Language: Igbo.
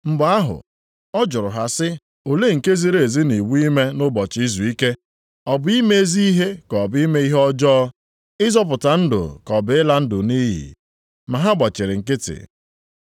Mgbe ahụ ọ jụrụ ha sị, “Olee nke ziri ezi nʼiwu ime nʼụbọchị izuike: ọ bụ ime ezi ihe ka ọ bụ ime ihe ọjọọ, ịzọpụta ndụ ka ọ bụ ịla ndụ nʼiyi?” Ma ha gbachiri nkịtị.